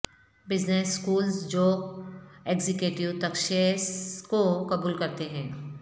business schools جو executive تشخیص کو قبول کرتے ہیں